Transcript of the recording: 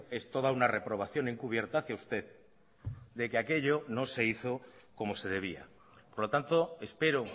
es toda una reprobación encubierta hacía usted de que aquello no se hizo como se debía por lo tanto espero